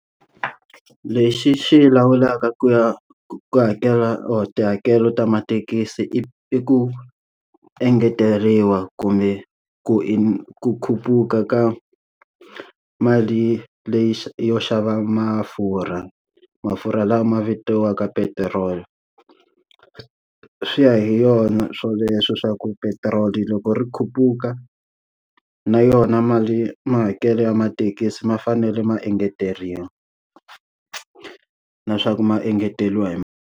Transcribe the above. Lexi xi lawulaka ku ya ku hakela or tihakelo ta mathekisi i i ku engeteriwa kumbe ku i ku khuphuka ka mali leyi yo xava mafurha, mafurha lama ma vitiwaka petiroli. Swi ya hi yona swoleswo swa ku petiroli loko ri khuphuka, na yona mali mahakelo ya mathekisi ma fanele ma engeteriwa. Na swa ku ma engeteriwa hi mali.